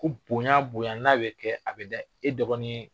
Ko bonya bonya n'a bɛ kɛ a bɛ da e dɔgɔnin